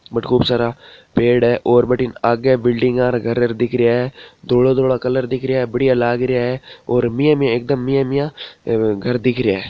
और खूब सारा पेड़ हैं और आगे बिल्डिंग घर वर दिख रहिया है धोला धोला कलर दिख रहिया है बढ़िया लाग रहिया है मीना मीना एकदम मेयिया मिया घर दिख रहिया है।